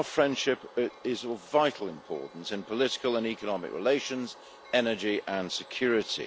Our friendship is of vital importance in political and economic relations, energy and security.